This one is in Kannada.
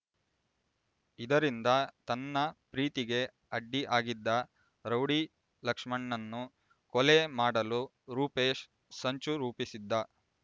ಇದರಿಂದ ತನ್ನ ಪ್ರೀತಿಗೆ ಅಡ್ಡಿ ಆಗಿದ್ದ ರೌಡಿ ಲಕ್ಷ್ಮಣ್ ನನ್ನು ಕೊಲೆ ಮಾಡಲು ರೂಪೇಶ್ ಸಂಚು ರೂಪಿಸಿದ್ದ